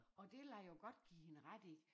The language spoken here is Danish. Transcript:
Og det vil jeg jo godt give hende ret i